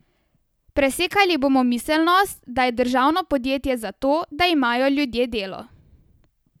Presekali bomo miselnost, da je državno podjetje zato, da imajo ljudje delo.